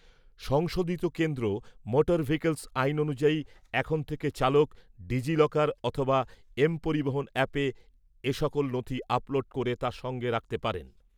সংশোধিত কেন্দ্র motor vehicles আইন অনুযায়ী, এখন থেকে চালক ডিজি লকার অথবা এম পরিবহণ অ্যাপে এসকল নথি আপলোড করে তা সঙ্গে রাখতে পারেন।